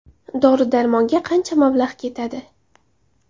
Dori-darmonga qancha mablag‘ ketadi?